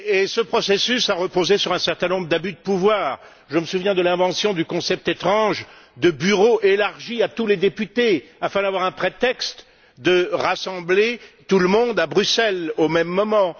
Ce processus a reposé sur un certain nombre d'abus de pouvoir je me souviens de l'invention du concept étrange de Bureau élargi à tous les députés, afin d'avoir un prétexte pour rassembler tout le monde à Bruxelles, au même moment.